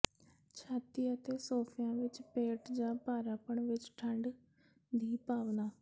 ਛਾਤੀ ਅਤੇ ਮੋਢਿਆਂ ਵਿੱਚ ਪੇਟ ਜਾਂ ਭਾਰਾਪਣ ਵਿੱਚ ਠੰਢ ਦੀ ਭਾਵਨਾ